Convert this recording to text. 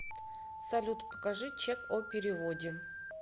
салют покажи чек о переводе